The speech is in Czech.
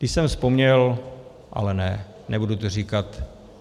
Když jsem vzpomněl - ale ne, nebudu to říkat.